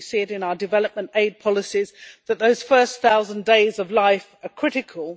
we see it in our development aid policies that those first thousand days of life are critical.